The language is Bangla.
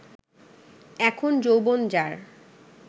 এখন যৌবন যার